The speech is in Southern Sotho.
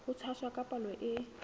ho tshwasa ka palo e